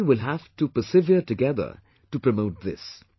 The country will have to persevere together to promote this